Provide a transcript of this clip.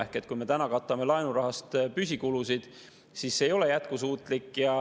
Ehk kui me katame laenurahaga püsikulusid, siis see ei ole jätkusuutlik.